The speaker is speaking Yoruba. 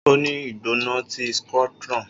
O ni igbona ti scrotum